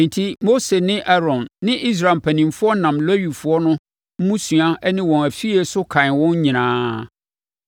Enti Mose ne Aaron ne Israel mpanimfoɔ nam Lewifoɔ no mmusua ne wɔn afie so kan wɔn nyinaa.